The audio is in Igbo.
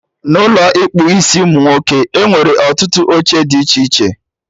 N'Ụlọ ịkpụ isiụmụnwoke, enwere ọtụtụ oche dị iche iche